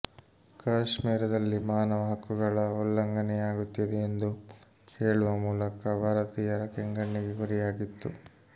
ಕಾಶ್ಮೀರದಲ್ಲಿ ಮಾನವ ಹಕ್ಕುಗಳ ಉಲ್ಲಂಘನೆಯಾಗುತ್ತಿದೆ ಎಂದು ಹೇಳುವ ಮೂಲಕ ಭಾರತೀಯರ ಕೆಂಗಣ್ಣಿಗೆ ಗುರಿಯಾಗಿತ್ತು